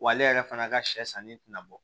Wa ale yɛrɛ fana ka sɛ sanni tɛna bɔ